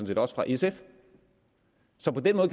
set også fra sf så på den